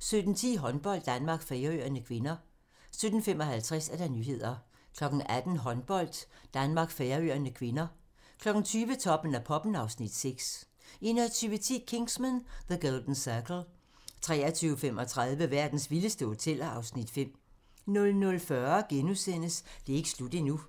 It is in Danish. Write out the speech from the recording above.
17:10: Håndbold: Danmark-Færøerne (k) 17:55: Nyhederne 18:00: Håndbold: Danmark-Færøerne (k) 20:00: Toppen af poppen (Afs. 6) 21:10: Kingsman: The Golden Circle 23:35: Verdens vildeste hoteller (Afs. 5) 00:40: Det er ikke slut endnu *